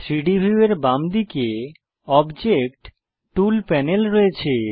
3ডি ভিউ এর বামদিকে অবজেক্ট টুল প্যানেল আছে